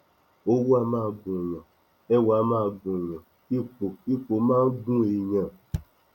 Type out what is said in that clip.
owó á máa gùnúnyàn ẹwà máa ń gùnúnyàn ipò ipò máa ń gún èèyàn